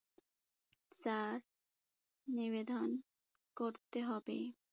তা নিবেদন করতে হবে।